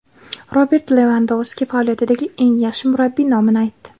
Robert Levandovski faoliyatidagi eng yaxshi murabbiy nomini aytdi.